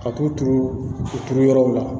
Ka t'u turu u turu yɔrɔw la